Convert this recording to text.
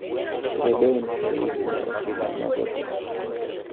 Rédoine Faïd ne otimo mago te.